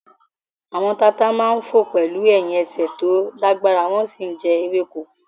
Àwọn tata máa ń fò pẹ̀lú ẹ̀hìn ẹsẹ̀ tó lágbára wọ́n sì ń jẹ ewéko